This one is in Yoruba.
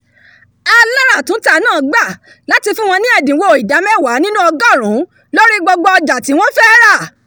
aláràtúntà náà gbà láti fún wọñ ní ẹ̀dínwó ìdá mẹ́wàá nínú ọgọ́rùnún lórí gbogbo ọjà tí wọ́n fẹ́ rà